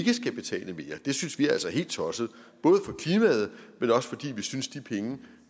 skal betale mere det synes vi altså er helt tosset både for klimaet men også fordi vi synes de penge